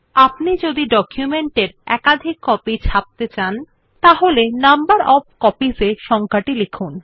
আপনি যদি ডকুমেন্টের একাধিক কপি ছাপতে চান তাহলে নাম্বার ওএফ কপিস ত়ে সংখ্যাটি লিখুন